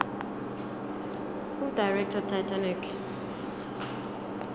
who directed titanic